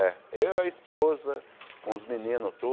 Eu e a esposa, com os meninos